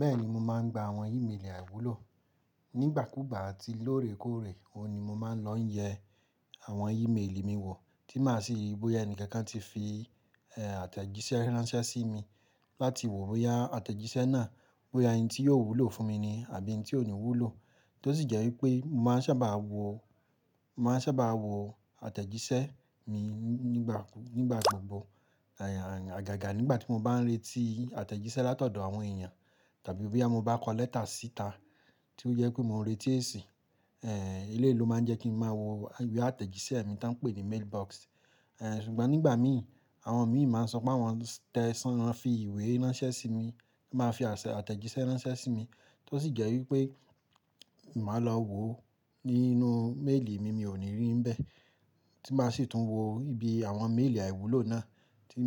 Bẹ́ẹ̀ni, mo máa ń gba àwọn ìmelì àìwúlò. Nígbàkúùgbà àti lóòrèkóòrè, òun ni mo máa ń lọ yẹ àwọn ìmelì mi wò, tí máa sì ríi bóyá ẹni kankan ti fi, àtẹ̀jíṣẹ́ ránṣẹ́ sí mi, láti wò bóyá àtẹ̀jíṣẹ́ náà, bóyá eyin tí yóò wúlò fún mi ni àbí ẹni tí ò ní wúlò. Tó sì jẹ́ wípé mo máa ń sábà wò, mo máa ń sábà wò àtẹ̀jíṣẹ́ mi nígbà, nígbà gbogbo. Àyà, àyà, àgàgà nígbà tí mo bá ń retí àtẹ̀jíṣẹ́ látọ̀dọ̀ àwọn èèyàn tàbí bóyá mo bá kọ lẹ́tà síta tí ó yẹ pé mo ń retí èsì, eléyi lo máa ń jẹ́ kí n máa wò ìwé àtẹ̀jíṣẹ́ mi tí wọ́n ń pè ní mailbox. Ṣùgbọ́n nígbà mi, àwọn mi máa ń sọ pé wọ́n tẹsan, wọ́n fi ìwé ránṣẹ́ sí mi, máa fi àṣẹ, àtẹ̀jíṣẹ́ ránṣẹ́ sí mi, tó sì jẹ́ wípé ì máa lọ wò nínú méèlì mi, mi ò ní rí bẹ́ẹ̀. Tí màá sì tún wò ibi àwọn méèlì àìwúlò náà tí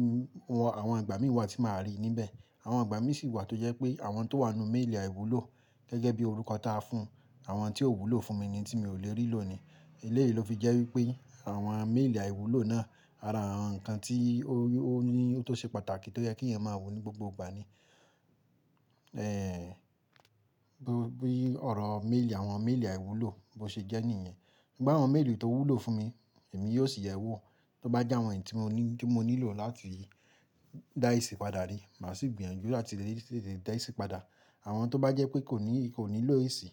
wọn, àwọn àgbà mí wà tí màá rí níbẹ̀. Àwọn àgbà mí sì wà tó jẹ́ pé àwọn tó wà nínú méèlì àìwúlò gẹ́gẹ́ bí orúkọ tí a fún àwọn tí ò wúlò fún mi ni tí mi ò lè rí lòní. Eléyi lo fi jẹ́ wípé àwọn méèlì àìwúlò náà ara àwọn nǹkan tí ó, ó ní, tó ṣe pàtàkì tó jẹ́ kí ẹ̀yàn máa wò ní gbogbo ìgbà ni. Bí, bí ọ̀rọ̀ méèlì, àwọn méèlì àìwúlò bó ṣe jẹ́ nìyẹn. Ṣùgbọ́n àwọn méèlì tó wúlò fún mi, èmi yóò sì yẹ̀ wò. Tóbá jẹ́ àwọn èyí tí mo ní, tí mo nílò láti dá èsì padà rí, màá sì gbìyànjú láti tètè dá èsì padà. Àwọn tó bá jẹ́ pé kò ní, kò nílò èsì,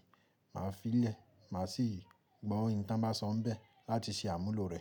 màá fi í lẹ̀, màá sì gbọ́ ohun tí wọ́n bá sọ bẹ́ẹ̀ láti ṣe àmúlò rẹ̀